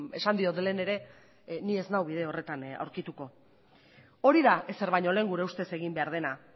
esan diot lehen ere ni ez nau bide horretan aurkituko hori da ezer baino lehen gure ustez egin behar dena